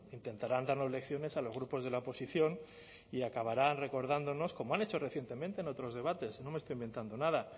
intentarán darnos lecciones a los grupos de la oposición y acabarán recordándonos como han hecho recientemente en otros debates no me estoy inventando nada